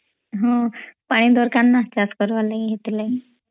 ହଁ ପାଣି ଦରକାର୍ ନା ଚାସ କରିବା ଲାଗି ସେଥିଲାଗି